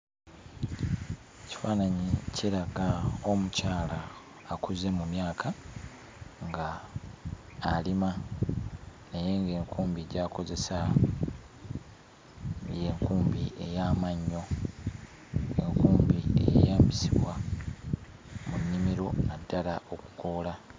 Ekifaananyi kiraga omukyala akuze mu myaka, nga alima naye ng'enkumbi gy'akozesa y'enkumbi ey'amannyo, enkumbi eyeeyambisibwa mu nnimiro naddala okukoola.